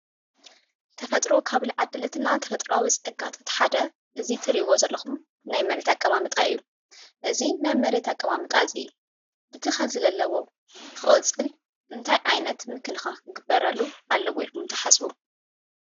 ተፈጥሮ ካብ ዝዓደለትና ተፈጥራዊ ፀጋ እቲ ሓደ እዚ እትሪእዎ ዘለኩም ናይ መሬት ኣቀማምጣ እዩ። እዚ ናይ መሬት ኣቀማምጣ እዚ እቲ ሕዚ ዘለዎ ክቅፅል እንታይ ዓይነት ክግበረሉ ኣለዎ ኢልኩም ትሓስቡ ?